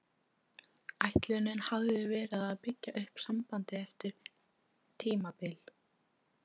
Ætlunin hafði verið að byggja upp sambandið eftir erfitt tímabil.